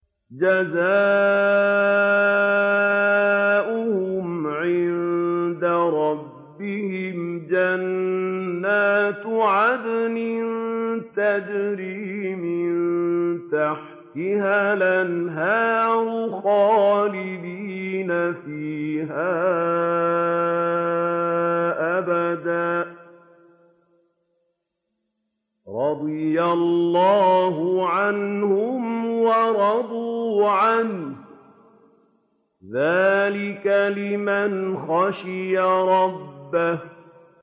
جَزَاؤُهُمْ عِندَ رَبِّهِمْ جَنَّاتُ عَدْنٍ تَجْرِي مِن تَحْتِهَا الْأَنْهَارُ خَالِدِينَ فِيهَا أَبَدًا ۖ رَّضِيَ اللَّهُ عَنْهُمْ وَرَضُوا عَنْهُ ۚ ذَٰلِكَ لِمَنْ خَشِيَ رَبَّهُ